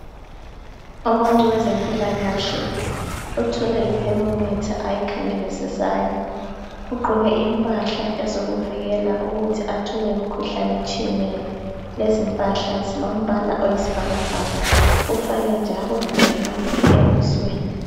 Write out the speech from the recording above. Umuntu wezempilakahle uthwele i thermometer ayikhangelisisayo, ugqoke impahla ezokuvikela ukuthi athole imkhuhlane etshiyeneyo. Lezimpahla zilombaka oyisibhakabhaka. Ufake njalo le mask ebusweni